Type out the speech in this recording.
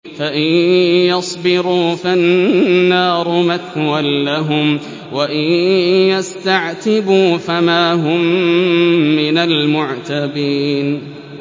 فَإِن يَصْبِرُوا فَالنَّارُ مَثْوًى لَّهُمْ ۖ وَإِن يَسْتَعْتِبُوا فَمَا هُم مِّنَ الْمُعْتَبِينَ